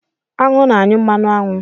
Aṅụ na-anyụ mmanụ aṅụ.